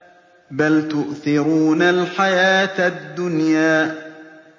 بَلْ تُؤْثِرُونَ الْحَيَاةَ الدُّنْيَا